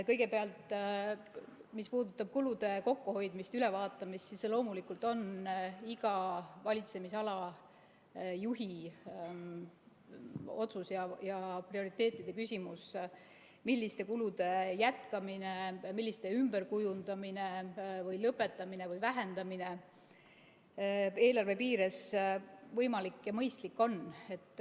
Kõigepealt, mis puudutab kulude kokkuhoidmist ja ülevaatamist, siis see on loomulikult iga valitsemisala juhi otsus ja prioriteetide küsimus, milliste kulude jätkamine, ümberkujundamine, lõpetamine või vähendamine eelarve piires võimalik ja mõistlik on.